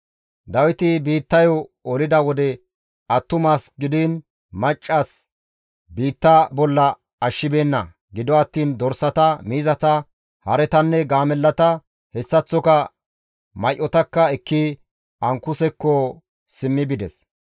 Dawiti biittayo olida wode attumas gidiin maccas biittaa bolla ashshibeenna. Gido attiin dorsata, miizata, haretanne gaamellata hessaththoka may7otakka ekki Ankusekko simmi bides.